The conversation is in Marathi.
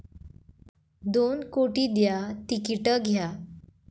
दोन कोटी द्या, तिकीट घ्या!